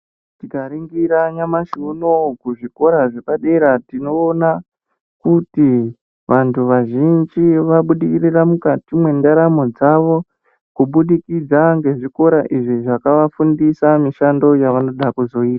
Tikaringira nyamashi unouyu kuzvikora zvepadera tinoona kuti vantu vazhinji vabudirira mukati mwendaramo dzavo. Kubudikidza ngezviko izvi zvakavafundisa mishando yavanoda kuzoita.